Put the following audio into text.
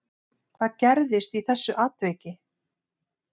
Hvað gerðist í þessu atviki